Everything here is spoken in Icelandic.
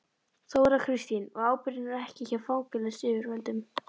Þóra Kristín: Og ábyrgðin er ekki hjá fangelsisyfirvöldum?